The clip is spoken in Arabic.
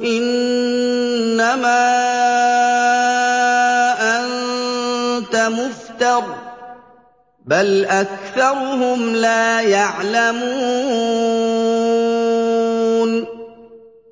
إِنَّمَا أَنتَ مُفْتَرٍ ۚ بَلْ أَكْثَرُهُمْ لَا يَعْلَمُونَ